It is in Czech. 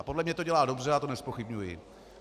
A podle mě to dělá dobře, já to nezpochybňuji.